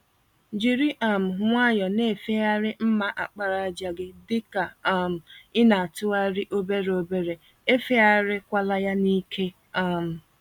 Jírí um nwayọọ na-efegharị mma àkpàràjà gị, dịka um ịnatụgharị obere obere, efegharị kwala ya n'ike. um